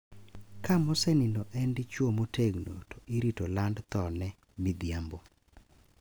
Ka mosenindo en dichwo motegno to irito land thone midhiambo.